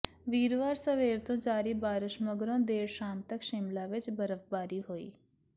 ਵੀਰਵਾਰ ਸਵੇਰ ਤੋਂ ਜਾਰੀ ਬਾਰਸ਼ ਮਗਰੋਂ ਦੇਰ ਸ਼ਾਮ ਤਕ ਸ਼ਿਮਲਾ ਵਿੱਚ ਬਰਫ਼ਬਾਰੀ ਹੋਈ